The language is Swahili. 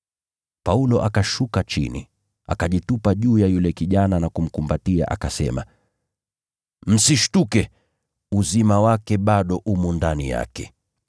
Paulo akashuka chini, akajitupa juu yake na kumkumbatia, akasema, “Msishtuke, uzima wake bado umo ndani yake.”